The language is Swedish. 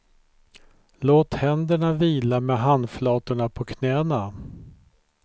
Låt händerna vila med handflatorna på knäna.